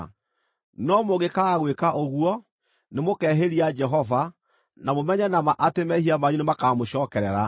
“No mũngĩkaaga gwĩka ũguo, nĩmũkehĩria Jehova; na mũmenye na ma atĩ mehia manyu nĩmakamũcookerera.